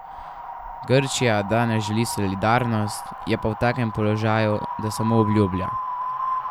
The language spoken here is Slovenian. Grčija danes želi solidarnost, je pa v takem položaju, da samo obljublja.